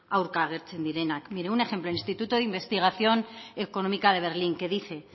aurka agertzen direnak mire un ejemplo el instituto de investigación económica de berlín que dice